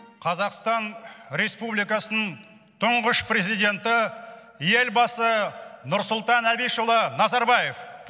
қазақстан республикасының тұңғыш президенті елбасы нұрсұлтан әбішұлы назарбаев